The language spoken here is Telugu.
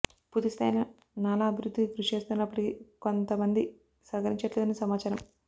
పూర్తి స్థాయిలో నాలా అభివృద్ధికి కృషి చేస్తున్నప్పటికి కొం త మంది సహకరించట్లేదని సమాచారం